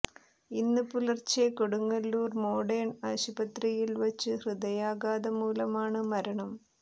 ഇന്ന് പുലർച്ചെ കൊടുങ്ങല്ലൂർ മോഡേൺ ആശുപത്രിയിൽ വച്ച് ഹൃദയാഘാതം മൂലമാണ് മരണം